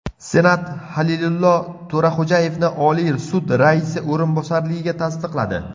Senat Halilillo To‘raxo‘jayevni Oliy sud raisi o‘rinbosarligiga tasdiqladi.